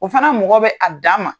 O fana mɔgɔ bɛ a dan ma.